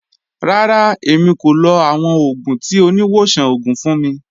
Rárá, èmi kò lọ̀ awọn ogun tí oníwọ̀sàn ogun fun mi.